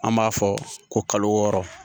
An b'a fɔ ko kalo wɔɔrɔ